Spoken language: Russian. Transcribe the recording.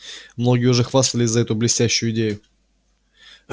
многие уже хватались за эту блестящую идею